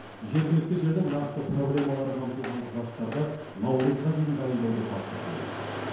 жергілікті жердің нақты проблемалары қамтылған құжаттарды наурызға дейін дайындауды тапсырды елбасы